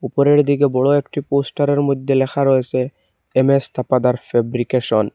উপরের দিকে বড় একটি পোস্টারের মইধ্যে লেখা রয়েছে এম_এস থাপাদার ফেব্রিকেশন ।